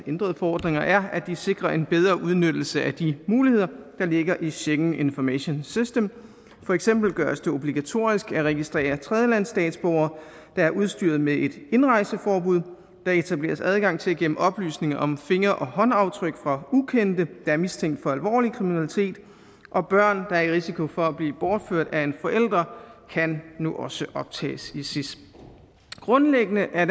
ændrede forordninger er at de sikrer en bedre udnyttelse af de muligheder der ligger i schengen information system for eksempel gøres det obligatorisk at registrere tredjelandsstatsborgere der er udstyret med et indrejseforbud der etableres adgang til at gemme oplysninger om finger og håndaftryk fra ukendte der er mistænkt for alvorlig kriminalitet og børn der er i risiko for at blive bortført af en forælder kan nu også optages i sis grundlæggende er